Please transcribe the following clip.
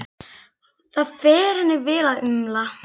Það fer henni vel að umla.